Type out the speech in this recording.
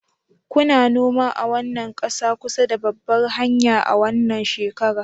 Kuna noma a wannan ƙasa kusa da babbar hanya a wannan shekara